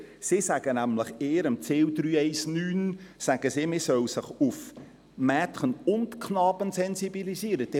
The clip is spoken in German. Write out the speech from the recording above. Sie sagt in ihrem Ziel 319, dass man auf Mädchen Knaben sensibilisieren soll.